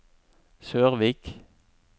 Sørvik